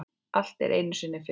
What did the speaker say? Allt er einu sinni fyrst.